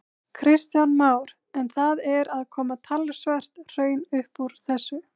Kristján Már: En það er að koma talsvert hraun upp úr þessu?